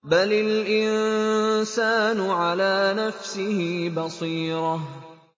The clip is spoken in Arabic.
بَلِ الْإِنسَانُ عَلَىٰ نَفْسِهِ بَصِيرَةٌ